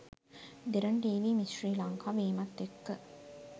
දෙරණ TV miss Sri Lanka වීමත් එක්ක